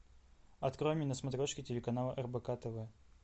открой мне на смотрешке телеканал рбк тв